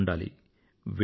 ఆడుతూ ఉండాలి